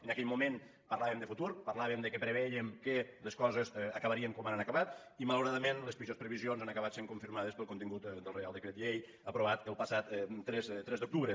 en aquell moment parlàvem de futur parlàvem que pre·vèiem que les coses acabarien com ara han acabat i malauradament les pitjors previsions han acabat sent confirmades pel contingut del reial decret llei aprovat el passat tres d’octubre